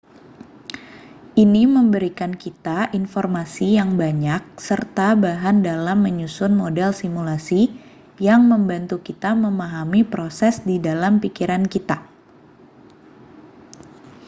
ini memberikan kita informasi yang banyak serta bahan dalam menyusun model simulasi yang membantu kita memahami proses di dalam pikiran kita